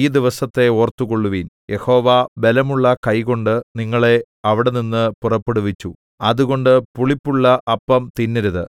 ഈ ദിവസത്തെ ഓർത്തുകൊള്ളുവിൻ യഹോവ ബലമുള്ള കൈകൊണ്ട് നിങ്ങളെ അവിടെനിന്ന് പുറപ്പെടുവിച്ചു അതുകൊണ്ട് പുളിപ്പുള്ള അപ്പം തിന്നരുത്